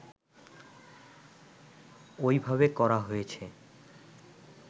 ওইভাবে করা হয়েছে